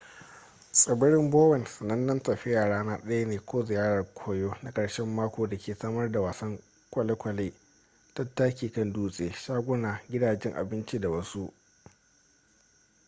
tsibirin bowen sanannen tafiya rana daya ne ko ziyarar koyo na karshen mako da ke samar da wasan kwalekwale tattakin kan dutse shaguna gidajen abinci da wasu